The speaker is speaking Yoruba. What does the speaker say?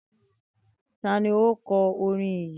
Tani o kọ orin yi?